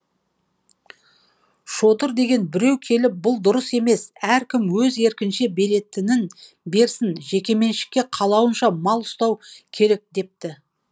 шодыр деген біреу келіп бұл дұрыс емес әркім өз еркінше беретінін берсін жекеменшікке қалауынша мал ұстау керек депті